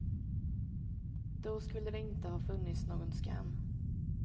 Då skulle det inte ha funnits någon skam.